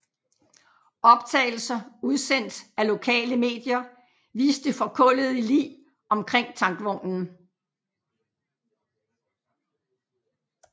Optagelser udsendt af lokale medier viste forkullede lig omkring tankvognen